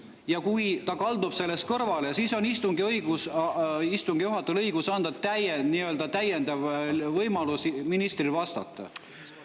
Ja kui ta kaldub sellest kõrvale, siis on istungi juhatajal õigus anda ministrile täiendav võimalus vastata.